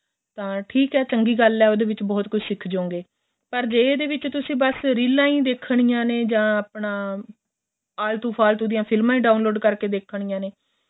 ਤਾਂ ਠੀਕ ਏ ਚੰਗੀ ਗੱਲ ਏ ਉਹਦੇ ਵਿੱਚ ਬਹੁਤ ਕੁੱਛ ਸਿਖ ਜੋ ਗਏ ਪਰ ਜੇ ਇਹਦੇ ਵਿੱਚ ਬੱਸ ਰੀਲਾਂ ਹੀ ਦੇਖਣੀਆਂ ਨੇ ਜਾਂ ਆਪਣਾ ਆਲਤੂ ਫ਼ਾਲਤੂ ਦੀਆਂ ਫ਼ਿਲਮਾਂ ਹੀ download ਕਰਕੇ ਦੇਖਣੀਆਂ ਨੇ